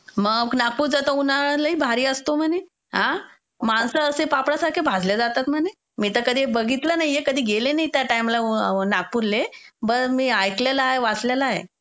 मग नागपूरचा तर उन्हाळा लय भारी असतो म्हणे. हां? माणसं अशी पापड्या सारखे भाजले जातात म्हणे. मी तर कधी बघितल नाहीये, कधी गेले नाहीये त्या टाईमाला नागपूरले, पण मी ऐकलेलं आहे, वाचलेलं आहे.